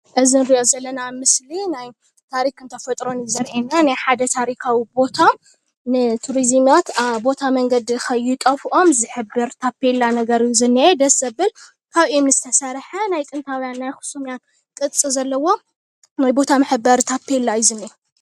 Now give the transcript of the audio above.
እዚ ንሪኦ ዘለና ምስሊ ናይ ታሪክን ተፈጥሮን እዩ ዘሪአና ናይ ሓደ ታሪካዊ ቦታ ንቱሪዝማት ኣ ቦታ መንገዲ ኸይጠፍኦም ዝሕብር ታፔላ ነገር እዩ ዝኒአ ደስ ዘብል ካብ እምኒ ዝተሰሐ ናይ ጥንታዉያን ናይ ኣክሱም ቅርፂ ዘለዎ ናይ ቦታ መሕበሪ ታፔላ እዩ ዝኒአ።